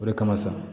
O de kama sa